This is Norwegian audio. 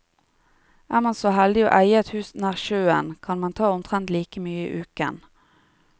Er man så heldig å eie et hus nær sjøen, kan man ta omtrent like mye i uken.